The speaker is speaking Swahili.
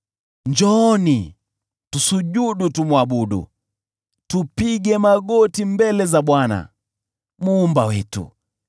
Njooni, tusujudu, tumwabudu, tupige magoti mbele za Bwana Muumba wetu,